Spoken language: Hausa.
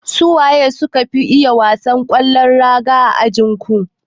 Su waye suka fi iya wasan kwallon raga a ajinku?